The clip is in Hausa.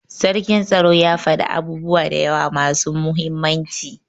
sarkin tsaro ya fada abubuwa dayawa masu muhimmanci.